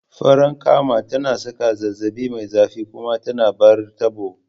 Farankama tana saka zazzabi mai zafi kuma ta bar tabo